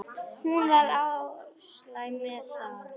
Hún var alsæl með það.